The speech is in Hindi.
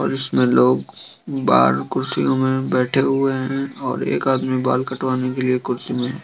और इसमें लोग बाहर कुर्सियों में बेठे हुए हैं और एक आदमी बाल कटवाने के लिए कुर्सी में है।